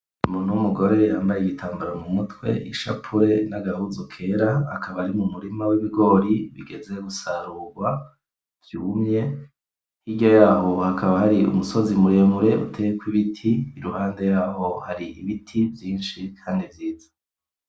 Umuntu w'umugore yambaye igitambara mumutwe, ishapure n'agahuzu kera akaba ari mumurima w'ibigori ugeze gusarurwa vyumye hirya yaho hakaba hari umusozi muremure uteyeko ibiti iruhande yaho hari ibiti vyishi kandi vyiza